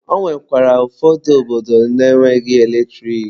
Ọ nwekwara ụfọdụ obodo na-enweghị eletrik.